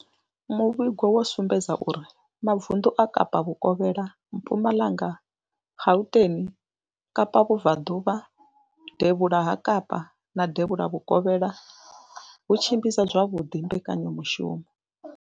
Muvhigo wo sumbedzisa uri mavundu a Kapa vhukovhela, Mpumalanga, Gauteng, Kapa vhubvaḓuvha, devhula ha Kapa na devhula vhukovhela ho tshimbidza zwavhuḓi mbekanyamushumo.